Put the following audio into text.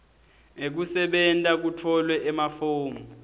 ekusebenta kutfolwe emafomu